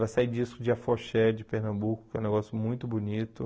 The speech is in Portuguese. Vai sair disco de Afoxé, de Pernambuco, que é um negócio muito bonito.